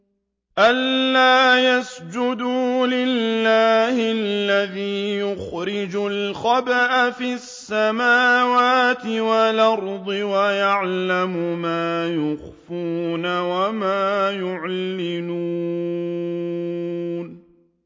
أَلَّا يَسْجُدُوا لِلَّهِ الَّذِي يُخْرِجُ الْخَبْءَ فِي السَّمَاوَاتِ وَالْأَرْضِ وَيَعْلَمُ مَا تُخْفُونَ وَمَا تُعْلِنُونَ